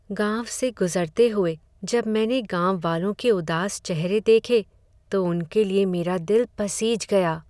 गांव से गुज़रते हुए जब मैंने गांववालों के उदास चेहरे देखे, तो उनके लिए मेरा दिल पसीज गया।